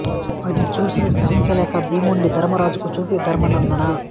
అది చూసి సహించ లేక భీముడిని ధర్మరాజుకు చూపి ధర్మనందనా